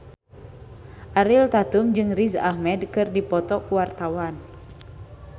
Ariel Tatum jeung Riz Ahmed keur dipoto ku wartawan